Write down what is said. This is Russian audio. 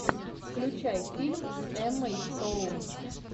включай фильм с эммой стоун